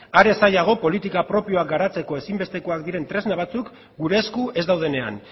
are zailago politika propioa garatzeko ezin bestekoak diren tresna batzuk gure esku ez daudenean